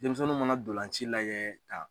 Denmisɛnnun mana dolanci layɛ ka